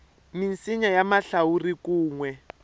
misinya ya mahlawuri kun we